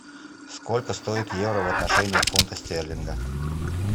сколько стоит евро в отношении фунта стерлинга